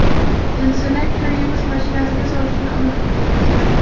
Jinsini kir yuvish mashinasiga solishni unutdingizmi?